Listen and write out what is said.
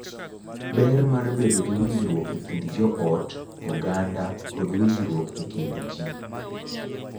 Ber mar bedo gi winjruok e kind joot, oganda, kod winjruok e kind ji.